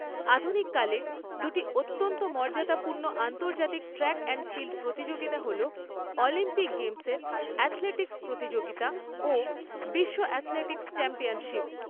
আধুনিককালে, দুটি অত্যন্ত মর্যাদাপূর্ণ আন্তর্জাতিক ট্র্যাক অ্যাণ্ড ফিল্ড প্রতিযোগিতা হল অলিম্পিক গেম্সের অ্যাথলেটিক্স প্রতিযোগিতা ও বিশ্ব অ্যাথলেটিক্স চ্যাম্পিয়নশিপ।